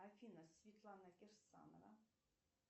афина светлана кирсанова